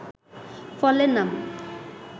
ফলের নাম